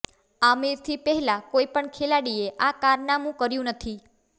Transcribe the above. આમિરથી પહેલા કોઈપણ ખેલાડીએ આ કારનામું કર્યુ નથી